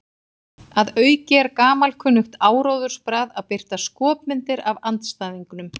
Að auki er gamalkunnugt áróðursbragð að birta skopmyndir af andstæðingnum.